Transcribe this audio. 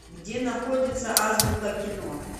где находится азбука кино